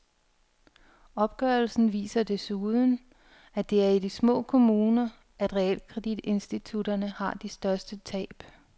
Opgørelsen viser desuden, at det er i de små kommuner, at realkreditinstitutterne har de største tab.